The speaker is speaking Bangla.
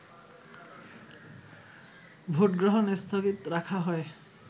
ভোটগ্রহণ স্থগিত রাখা হয়